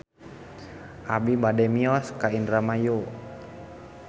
Abi bade mios ka Indramayu